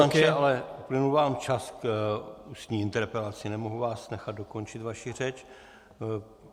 Pane poslanče, ale uplynul vám čas k ústní interpelaci, nemohu vás nechat dokončit vaši řeč.